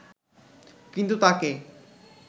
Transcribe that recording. কিন্তু তাকে